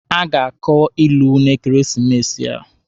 A ga-akọ ilu n'ekeresimesi a.